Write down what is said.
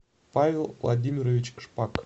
павел владимирович шпак